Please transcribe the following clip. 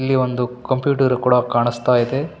ಇಲ್ಲಿ ಒಂದು ಕಂಪ್ಯೂಟರ್ ಕೂಡ ಕಾಣಿಸ್ತಾಯಿದೆ.